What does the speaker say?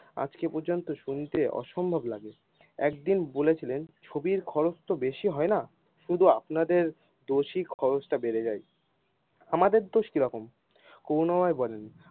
আজকে পর্যন্ত শুনতে অসম্ভব লাগে একদিন বলেছিলেন, ছবির খরচ তো বেশি হয়না শুধু আপনাদের দোষিক খরচ টা বেড়ে যায় আমাদের দোষ কি রকম।